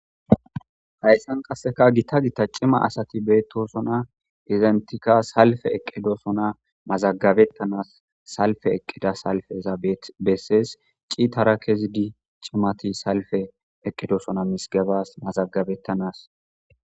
Hayssan qasseka gita gita cima asati beettosona izentika salfe eqqidoosona mazagabettanas salfe eqqida salfeza bessees ciitara kezidi cimati salfe eqqidosona mizigebas mazagabettanas.